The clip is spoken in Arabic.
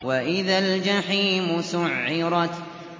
وَإِذَا الْجَحِيمُ سُعِّرَتْ